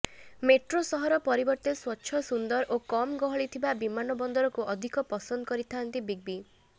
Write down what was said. metro ସହର ପରିବର୍ତ୍ତେ ସ୍ବଚ୍ଛ ସୁନ୍ଦର ଓ କମ୍ ଗହଳିଥିବା ବିମାନବନ୍ଦରକୁ ଅଧିକ ପସନ୍ଦ କରିଥାଆନ୍ତି ବିଗ୍ ବି